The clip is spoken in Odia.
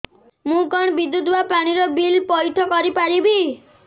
ମୁ କଣ ବିଦ୍ୟୁତ ବା ପାଣି ର ବିଲ ପଇଠ କରି ପାରିବି